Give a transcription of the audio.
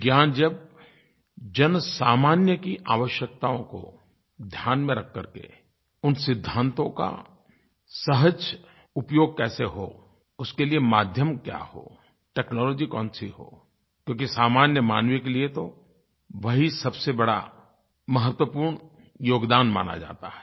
विज्ञान जब जनसामान्य की आवश्यकताओं को ध्यान में रख करके उन सिद्धांतों का सहज उपयोग कैसे हो उसके लिए माध्यम क्या हो टेक्नोलॉजी कौन सी हो क्योंकि सामान्य मानव के लिये तो वही सबसे बड़ा महत्वपूर्ण योगदान माना जाता है